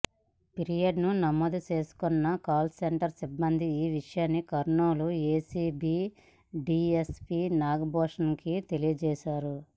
ఫిర్యాదును నమోదు చేసుకున్న కాల్ సెంటర్ సిబ్బంది ఈ విషయాన్ని కర్నూలు ఏసీబీ డీఎస్పీ నాగభూషణానికి తెలియజేశారు